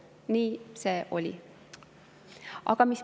Nii see oli.